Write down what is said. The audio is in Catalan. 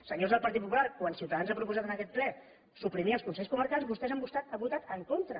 senyors del partit popular quan ciutadans ha proposat en aquest ple suprimir els consells comarcals vostès hi han votat en contra